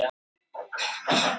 Kröflustöð